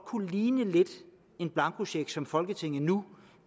kunne ligne en blankocheck som folketinget nu